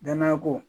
Danaya ko